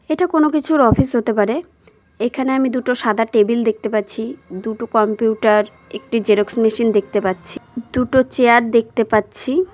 এটা কোন কিছুর অফিস হতে পারে এখানে আমি দুটো সাদা টেবিল দেখতে পাচ্ছি দুটো কম্পিউটার একটি জেরক্স মেশিন দেখতে পাচ্ছি দুটো চেয়ার দেখতে পাচ্ছি।